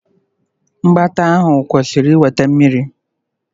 Mgbata ahụ kwụsịrị iweta Mmiri.